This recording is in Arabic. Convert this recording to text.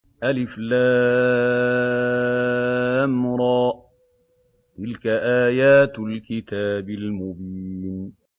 الر ۚ تِلْكَ آيَاتُ الْكِتَابِ الْمُبِينِ